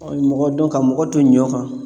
mɔgɔ dɔn ka mɔgɔ to ɲɔ kan